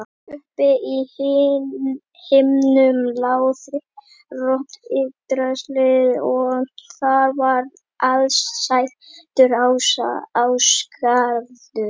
Uppi á himnum lá þriðja rót Yggdrasils og þar var aðsetur ása, Ásgarður.